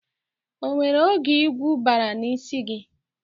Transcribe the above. O nwere oge igwu baara n'ísí gị?